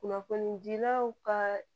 Kunnafonidilaw ka